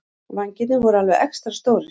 Vængirnir voru alveg extra stórir.